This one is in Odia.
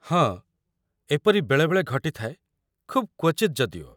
ହଁ, ଏପରି ବେଳେବେଳେ ଘଟିଥାଏ, ଖୁବ୍ କ୍ୱଚିତ୍ ଯଦିଓ ।